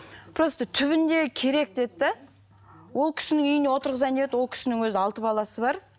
просто түбінде керек деді де ол кісінің үйіне отырғызайын деп еді ол кісінің өзі алты баласы бар